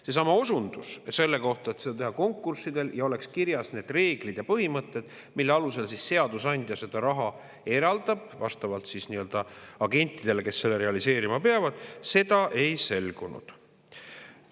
Seesama osundus selle kohta, et seda teha konkurssidel ja et oleks kirjas need reeglid ja põhimõtted, mille alusel seadusandja raha eraldab, vastavalt agentidele, kes selle realiseerima peavad – seda ei selgunud.